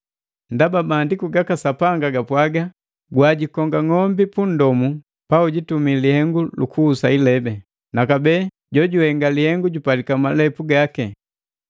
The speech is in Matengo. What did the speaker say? Ndaba Maandiku ga Sapi gapwaga, “Gwiinkonga ng'ombi punndomu paujitumi lihengu lukuhusa ilebi,” naka bee, “Jojuhenga lihengu jupalika malipu gaki.”